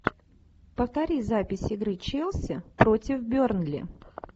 повтори запись игры челси против бернли